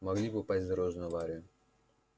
могли попасть в дорожную аварию